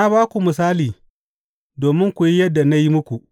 Na ba ku misali domin ku yi yadda na yi muku.